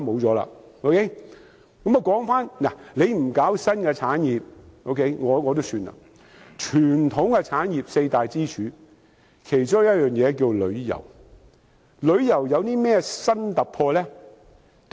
政府不搞新的產業也算了，傳統產業中的四大支柱，其中一項是旅遊業，旅遊業有何新突破？